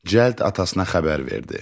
Cəld atasına xəbər verdi.